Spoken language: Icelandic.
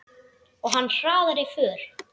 Og hann hraðaði för.